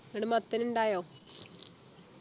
എന്നിട്ട് മത്തൻ ഉണ്ടായോ